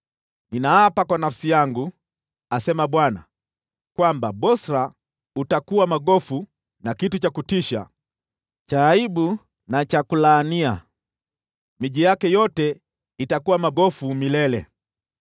Ninaapa kwa nafsi yangu,” asema Bwana , “kwamba Bosra utakuwa magofu na kitu cha kutisha, cha aibu na cha kulaania; miji yake yote itakuwa magofu milele.”